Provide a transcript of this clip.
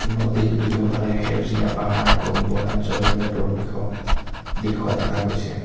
নদীৰ দুয়োফালে সেউজীয়া পাহাৰ আৰু বনাঞ্চললে পৰৱেশ দিখুওৱা দেখা গৈছে।